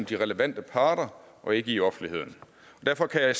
de relevante parter og ikke i offentligheden derfor kan jeg